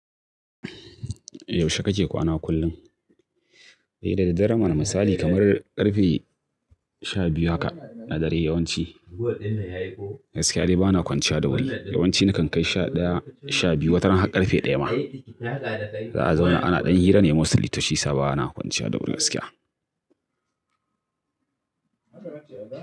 Yaushe kake kwana kullum? Eh, daraddare mana misali kamar ƙarfe sha biyu haka na dare yawanci. Gaskiya dai bana kwanciya da wuri. Yawanci nakan kai sha ɗaya, sha biyu wataran har ƙarfe ɗaya ma. Za'a zauna ana ɗan hira ne mostly to shi ya sa bana kwanciya da wuri gaskiya.